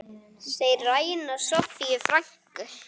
Þeir ræna Soffíu frænku.